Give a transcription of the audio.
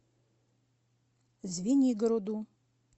звенигороду